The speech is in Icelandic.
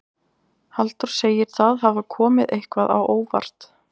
Halldór segir það hafa komið eitthvað á óvart.